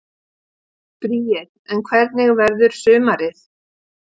Bríet: En hvernig verður sumarið?